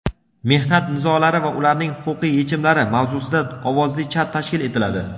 "Mehnat nizolari va ularning huquqiy yechimlari" mavzusida ovozli chat tashkil etiladi.